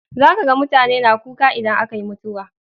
Za ka ga mutane na kuka idan aka yi mutuwa.